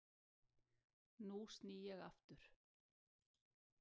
Nú sný ég aftur.